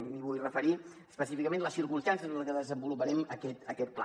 em vull referir específicament a les circumstàncies en les que desenvoluparem aquest pla